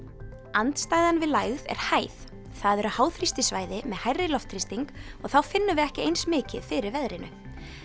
andstæðan við lægð er hæð það eru með hærri loftþrýsting og þá finnum við ekki eins mikið fyrir veðrinu